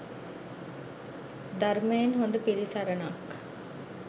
ධර්මයෙන් හොඳ පිළිසරණක්